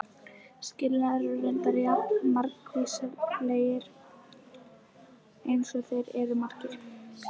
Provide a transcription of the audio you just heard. Skilnaðir eru reyndar jafn margvíslegir eins og þeir eru margir.